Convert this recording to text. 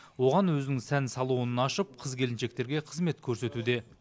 оған өзінің сән салонын ашып қыз келіншектерге қызмет көрсетуде